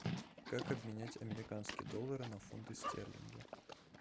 как обменять американские доллары на фунты стерлинги